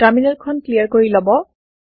terminal খন clear কৰি লব